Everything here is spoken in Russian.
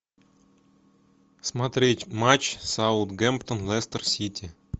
смотреть матч саутгемптон лестер сити